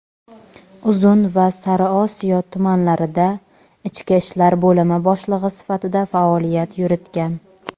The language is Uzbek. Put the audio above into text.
Uzun va Sariosiyo tumanlarida ichki ishlar bo‘limi boshlig‘i sifatida faoliyat yuritgan.